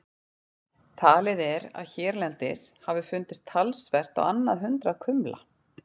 Talið er að hérlendis hafi fundist talsvert á annað hundrað kumla.